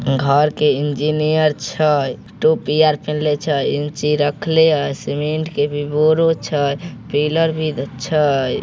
घर के इंजीनियर छय टोपी आर पहनले छय इंची रखले य सीमेंट के भी बोरो छय पिल्लर भी छय।